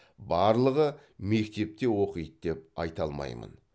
барлығы мектепте оқиды деп айта алмаймын